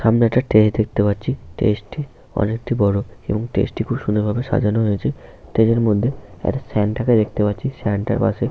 সামনে একটা স্টেজ দেখতে পাচ্ছি। স্টেজটি অনেকটি বড় এবং স্টেজটিকে খুব সুন্দর ভাবে সাজানো হয়েছে। স্টেজের মধ্যে একটা সান্তাকে দেখতে পাচ্ছি। সান্তার পাশে--